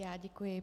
Já děkuji.